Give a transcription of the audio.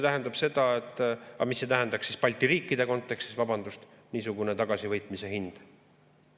Aga mis see tähendaks Balti riikide kontekstis, vabandust, niisugune tagasivõitmise hind?